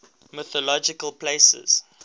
mythological places